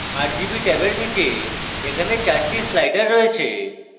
rgb ট্যাবের মধ্যে এখানে 4টি sliders রয়েছে